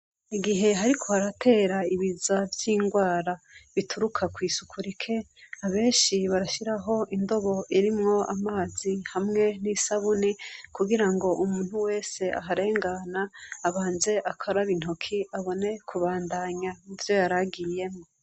igihe hariko haratera ibiza vy'ingwara bituruka kw'isuku rikenyi abenshi barashyiraho indobo irimwo amazi hamwe n'isabuni kugira ngo umuntu wese aharengana abanze akaraba intoki abone kubandanya ivyo yaragiyemo.